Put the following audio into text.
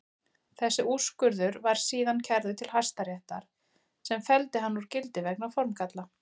Þessi úrskurður var síðan kærður til Hæstaréttar sem felldi hann úr gildi vegna formgalla.